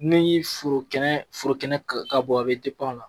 Ni n ye foro kɛnɛ kan k'a bɔ, a bɛ o la